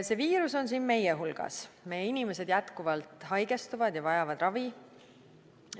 See viirus on siin meie hulgas, meie inimesed jätkuvalt haigestuvad ja vajavad ravi.